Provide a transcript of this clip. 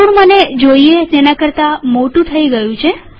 અરેવર્તુળ મને જોઈએ તેના કરતા મોટું થઇ ગયું